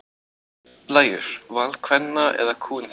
Blæjur: Val kvenna eða kúgun þeirra?